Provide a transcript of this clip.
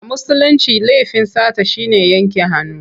A Musulince laifin sata shi ne yanke hannu.